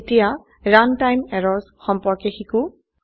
এতিয়া runtime errors সম্পৰ্কে শিকো